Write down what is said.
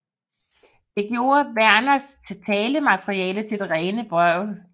Det gjorde Vernes talmateriale til det rene vrøvl